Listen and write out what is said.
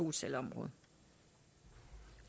en større